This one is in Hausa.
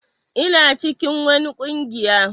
Ina cikin wani ƙungiya.